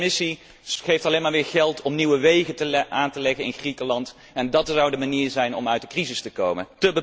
Ook de Commissie geeft alleen maar meer geld om nieuwe wegen aan te leggen in Griekenland en dat zou de manier zijn om uit de crisis te komen?